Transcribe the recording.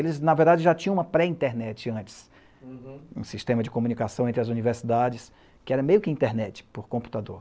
Eles, na verdade, já tinham uma pré-internet antes, uhum, um sistema de comunicação entre as universidades, que era meio que internet por computador.